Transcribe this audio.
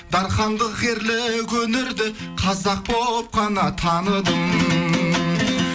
дархандық ерлік өнерді қазақ боп қана таныдым